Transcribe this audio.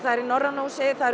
í Norræna húsinu það